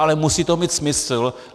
Ale musí to mít smysl.